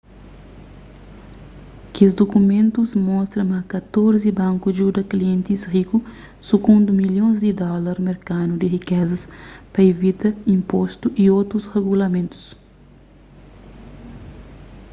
kes dukumentus mostra ma katorzi banku djuda klientis riku sukundi milhons di dólar merkanu di rikeza pa ivita inpostu y otus regulamentus